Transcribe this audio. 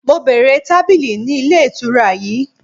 Mo bèèrè tabili ni ile itura yii!